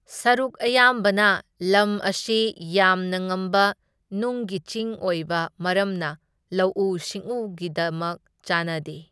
ꯁꯔꯨꯛ ꯑꯌꯥꯝꯕꯅ ꯂꯝ ꯑꯁꯤ ꯌꯥꯝꯅ ꯉꯝꯕ ꯅꯨꯡꯒꯤ ꯆꯤꯡ ꯑꯣꯏꯕ ꯃꯔꯝꯅ ꯂꯧꯎ ꯁꯤꯡꯎꯒꯤꯗꯃꯛ ꯆꯥꯅꯗꯦ꯫